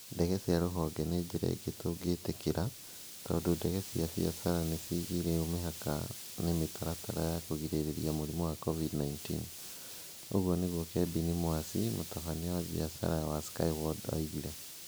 "Ndege cia rũhonge nĩ njĩra ĩngĩ tũngĩtĩkĩra. Tondũ ndege cia biacara nĩ ciigĩirwo mĩhaka nĩ mĩtaratara ya kũgirĩrĩria mũrimũ wa COVID-19. " ũguo nĩguo Kebini Mwasi, mũtabania wa biacara wa Skyward oigire.